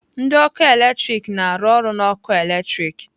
Ndị ọkụ eletrik na-arụ ọrụ na ọkụ eletrik